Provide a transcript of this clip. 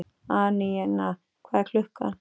Anína, hvað er klukkan?